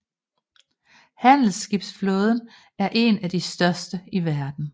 Handelsskibsflåden er en af de største i verden